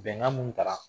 Bɛnkan mun tara